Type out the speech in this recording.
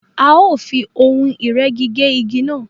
A o fí ohùn ìrẹ́gi gé ìgi náà